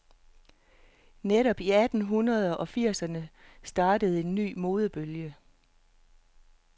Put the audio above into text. Netop i atten hundrede og firserne startede en ny modebølge.